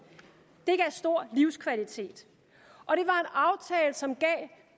det stor livskvalitet og som gav